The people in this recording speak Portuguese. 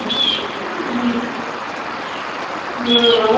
Você voltou a encontrar assim?ão, não, não, não é uh...